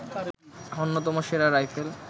অন্যতম সেরা রাইফেল